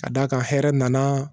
Ka d'a kan hɛrɛ nana